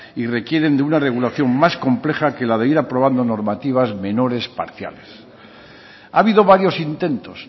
y requieren de una regulación más compleja que la de ir aprobando normativas menores parciales ha habido varios intentos